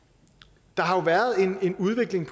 der har jo været en udvikling